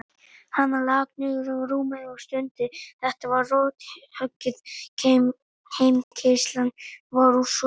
Hann lak niður á rúmið og stundi, þetta var rothöggið, heimkeyrslan var úr sögunni.